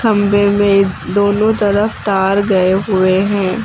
खंभे में दोनों तरफ तार गए हुए हैं।